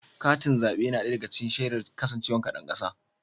Katin zaɓe yana ɗaya daga cikin shaidar kasancewar ka ɗan ƙasa.